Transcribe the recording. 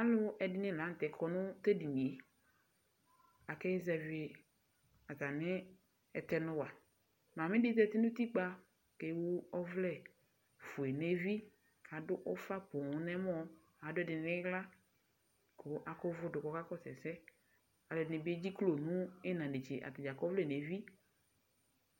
Alʋ ɛdɩnɩ la nʋ tɛ kɔ nʋ tʋ edini yɛ, akazɛvɩ atamɩ ɛtɛnʋ wa, mamɩ dɩ zati nʋ utikpǝ kʋ ewu ɔvlɛ fue nʋ evi, kʋ adʋ ʋfa poo nʋ ɛmɔ, adʋ ɛdɩ nʋ ɩɣla, kʋ akʋ ʋvʋ dʋ kʋ ɔkakɔsʋ ɛsɛ Alʋ ɛdɩnɩ bɩ edziklo nʋ ɩɣɩna netse atanɩ akɔ ɔvlɛ nʋ evi,